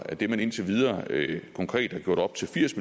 at det man indtil videre konkret har gjort op til firs